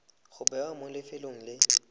go bewa mo lefelong le